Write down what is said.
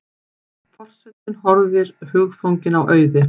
Forsetinn horfir hugfanginn á Auði.